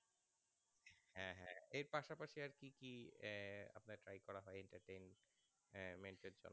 কি কি আপনার try করা হয় entertainments